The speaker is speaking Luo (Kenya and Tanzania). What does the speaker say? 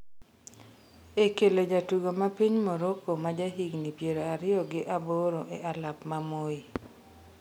e kelo jatugo ma piny Moroko ma ja higni piero ariyo gi aboro e alap ma Moi